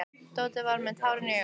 Tóti var með tárin í augunum.